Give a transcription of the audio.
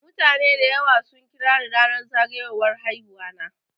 Mutane dayawa sun kirani ranar zagayowar haihuwana.